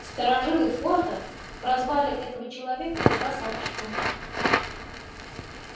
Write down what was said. старожилы форта прозвали этого человека красавчиком